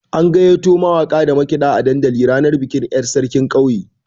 An gayyato mawaka da makiɗa dandali ranar bikin yar' sarkin ƙauyen.